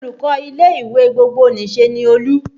Olùkọ́ ilé ìwé gbogbonìṣe ni Olú